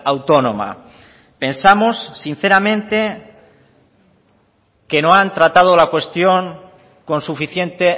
autónoma pensamos sinceramente que no han tratado la cuestión con suficiente